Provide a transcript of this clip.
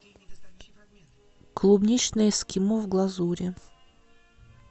клубничное эскимо в глазури